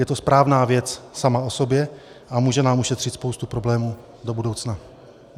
Je to správná věc sama o sobě a může nám ušetřit spoustu problémů do budoucna.